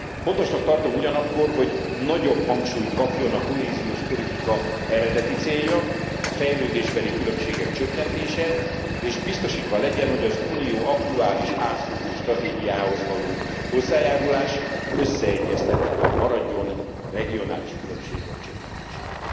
Fontosnak tartom ugyanakkor, hogy nagyobb hangsúlyt kapjon a kohéziós politika eredeti célja, a fejlődésbeli különbségek csökkentése, és biztosítva legyen, hogy az unió aktuális, átfogó stratégiájához való hozzájárulás összeegyeztethető maradjon a regionális különbségek csökkentésével.